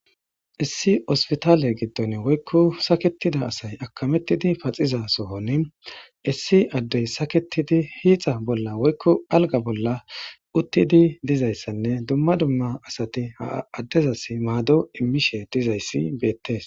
Issi hosptale giddon woyko sakettid asay paxxiza sohoni issi adaey saketidi hixa bolla woyko alga bolla utidi dizaysanne dumma dumma asati ha adezasi mado imizaysa betese